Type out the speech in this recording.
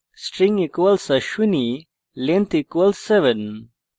string = ashwini length = 7